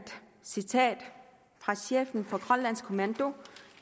citat fra chefen for grønlands kommando